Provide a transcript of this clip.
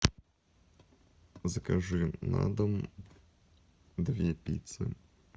закажи на дом две пиццы